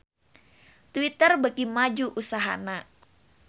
Twitter beuki maju usahana